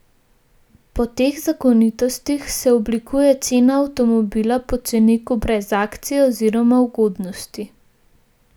Po teh zakonitostih se oblikuje cena avtomobila po ceniku brez akcij oziroma ugodnosti.